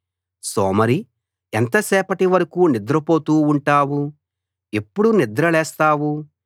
సోమరీ ఎంతసేపటి వరకూ నిద్రపోతూ ఉంటావు ఎప్పుడు నిద్రలేస్తావు